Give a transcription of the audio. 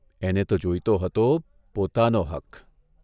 એને તો જોઇતો હતો પોતાનો હક !